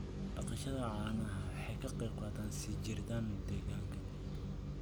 Dhaqashada caanaha waxay ka qayb qaadataa sii jiritaan deegaanka.